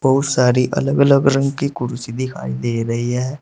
बहुत सॉरी अलग अलग रंग की कुर्सी दिखाई दे रही है।